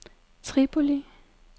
Tripoli